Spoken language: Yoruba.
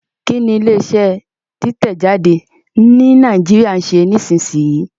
Kí ni ilé iṣẹ́ títẹ̀ jáde ní Nàìjíríà ń ṣe nísinsìnyí?